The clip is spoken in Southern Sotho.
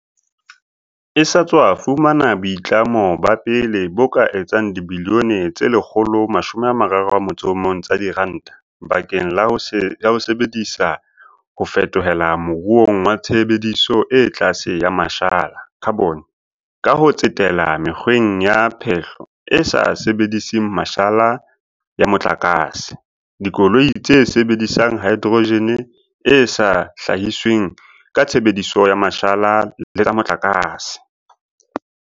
e sa tswa fumana boitlamo ba pele bo ka etsang dibilione tse 131 tsa diranta bakeng la ho e sebe disetsa ho fetohela moruong wa tshebediso e tlase ya ma shala, khabone, ka ho tsetela mekgweng ya phehlo e sa sebediseng mashala ya mo tlakase, dikoloi tse sebedisang haedrojene e sa hlahisweng ka tshebediso ya mashala le tsa motlakase.